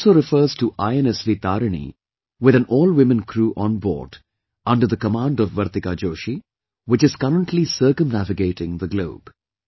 He also refers to INSV Tarini, with an all women crew on board under the command of Vartika Joshi, which is currently circumnavigating the globe